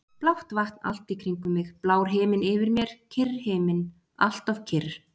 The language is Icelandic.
Blátt vatn allt í kringum mig, blár himinn yfir mér, kyrr himinn, alltof kyrr.